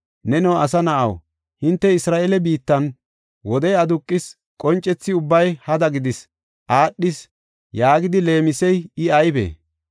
“Neno asa na7aw, hinte Isra7eele biittan, wode aduqis qoncethi ubbay hada gidis aadhis yaagidi leemisey I aybee?